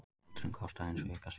Galdurinn kostaði hins vegar sitt.